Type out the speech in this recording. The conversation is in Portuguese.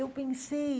Eu pensei...